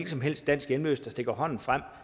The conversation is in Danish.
som helst dansk hjemløs der stikker hånden frem